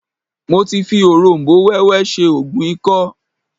Mo ti fi òróm̀bó wẹ́wẹ́ ṣe oògùn ikọ́